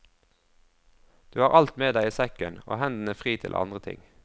Du har alt med deg i sekken, og hendene fri til andre ting.